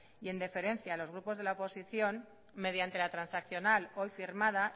y en deferencia a los grupos de la oposición mediante la transaccional hoy firmada